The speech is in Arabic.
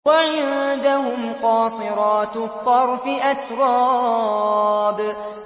۞ وَعِندَهُمْ قَاصِرَاتُ الطَّرْفِ أَتْرَابٌ